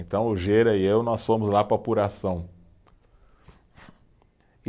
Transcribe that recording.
Então, o Gera e eu, nós fomos lá para a apuração. E